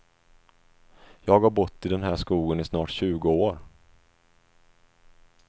Jag har bott i den här skogen i snart tjugo år.